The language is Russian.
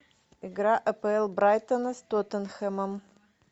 игра апл брайтона с тоттенхэмом